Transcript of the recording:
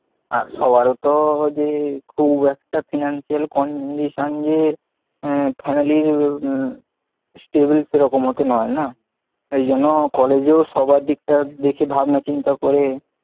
আচ্ছা সবার তো যে খুব একটা financial condition যে আহ family র stable সেরকম তো নয় না, এই জন্য কলেজেও সবার দিকটা ভাবনা চিন্তা করে,